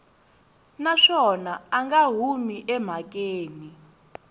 naswona a nga humi emhakeni